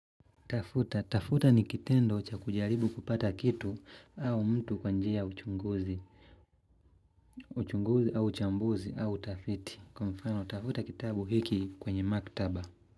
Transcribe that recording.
Tafuta, tafuta ni kitendo cha kujaribu kupata kitu au mtu kwa njia ya uchunguzi uchunguzi au uchambuzi au utafiti Kwa mfano, tafuta kitabu hiki kwenye maktaba.